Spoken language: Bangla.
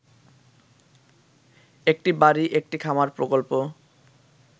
একটি বাড়ি একটি খামার প্রকল্প